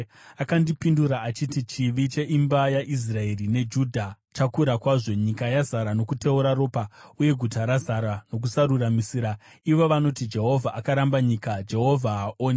Akandipindura achiti, “Chivi cheimba yaIsraeri neJudha chakura kwazvo; nyika yazara nokuteura ropa uye guta razara nokusaruramisira. Ivo vanoti, ‘Jehovha akaramba nyika; Jehovha haaoni.’